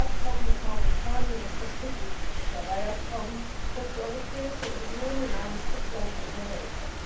Das Abkommen mit Mauretanien ist das wichtigste Fischereiabkommen, das die Europäische Union in einem Drittland unterhält.